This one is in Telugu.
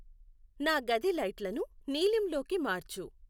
నా గది లైట్లను నీలింలోకి మార్చు